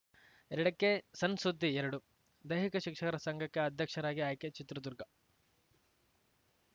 ಎರಡಕ್ಕೆಸಣ್‌ಸುದ್ದಿಎರಡು ದೈಹಿಕ ಶಿಕ್ಷಕರ ಸಂಘಕ್ಕೆ ಅಧ್ಯಕ್ಷರಾಗಿ ಆಯ್ಕೆ ಚಿತ್ರದುರ್ಗ